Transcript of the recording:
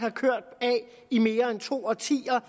i mere end to årtier